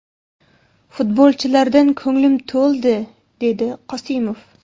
Futbolchilardan ko‘nglim to‘ldi”, − dedi Qosimov.